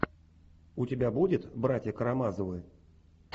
у тебя будет братья карамазовы